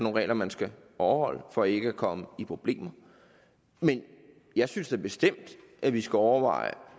regler man skal overholde for ikke at komme i problemer men jeg synes da bestemt at vi skal overveje